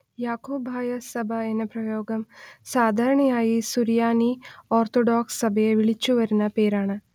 യാക്കോബായ സഭ എന്ന പ്രയോഗം സാധാരണയായി സുറിയാനി ഓർത്തഡോക്സ് സഭയെ വിളിച്ചു വരുന്ന പേരാണ്